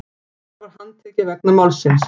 Par var handtekið vegna málsins